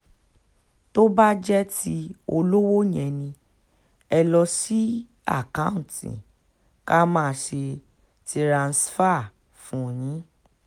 tó bá jẹ́ ti olówó yẹ ni ẹ lọ́ọ́ sí àkáùntì ká máa ṣe tiranṣàìfà fún yín